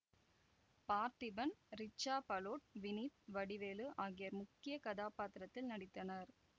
பார்த்திபன் ரிச்சா பலோட் வினித் வடிவேலு ஆகியோர் முக்கிய கதாப்பாத்திரத்தில் நடித்தனர்